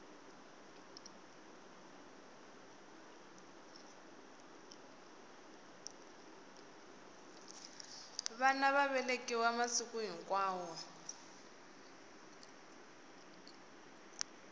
vana va velekiwa masiku hinkwawo